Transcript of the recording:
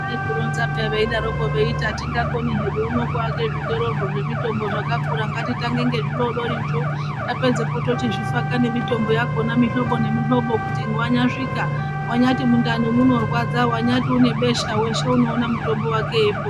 Vairzvionza pya kuti atingakoni kuaka zvitorozvo zvemutombo zvakakura .Ngatitange nezvidodori zvo ,tapedzepo tochizvifaka ngemitombo yakona yemihlobo nemihlobo kuti wanyasvika wanyati mundani munorwadza wanyati unebesha weshe unoona mutombo wake.